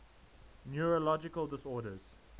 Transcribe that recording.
neurological disorders